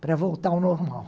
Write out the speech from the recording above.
para voltar ao normal.